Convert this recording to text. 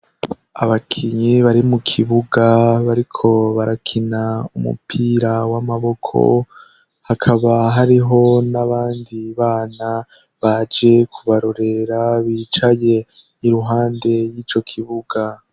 Abakinyi bari mu kibuga bariko barakina umupira w'amaboko, hakaba hariho n'abandi bana baje kubarorera bicaye iruhande y'ico kibuga.